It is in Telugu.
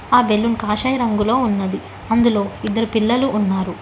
ఆ బెలూన్ కాషాయ రంగులో ఉన్నాది అందులో ఇద్దరు పిల్లలు ఉన్నారు.